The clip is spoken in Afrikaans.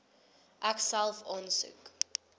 ek self aansoek